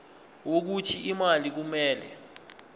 wokuthi imali kumele